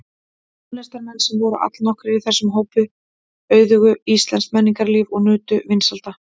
Tónlistarmenn, sem voru allnokkrir í þessum hópi, auðguðu íslenskt menningarlíf og nutu vinsælda.